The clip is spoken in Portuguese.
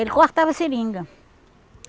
Ele cortava seringa.